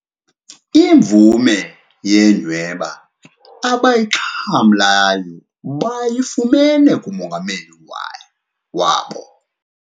Imvume yenyhweba abayixhamlayo bayifumene kumongameli wabo.